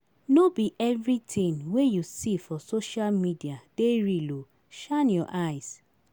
No be everytin wey you see for social media dey real o, shine your eyes.